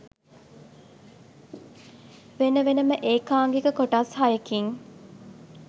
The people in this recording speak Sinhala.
වෙන වෙනම ඒකාංගික කොටස් හයකින්